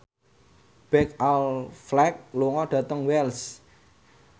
Ben Affleck lunga dhateng Wells